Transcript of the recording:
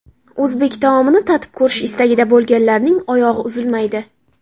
O‘zbek taomini tatib ko‘rish istagida bo‘lganlarning oyog‘i uzilmaydi.